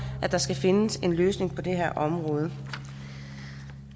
at der skal findes en løsning på det her område